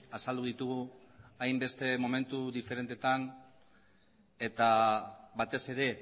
azaldu ditugu hainbeste momentu diferentetan eta batez ere